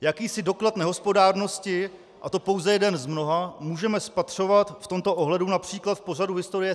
Jakýsi doklad nehospodárnosti, a to pouze jeden z mnoha, můžeme spatřovat v tomto ohledu například v pořadu Historie.cs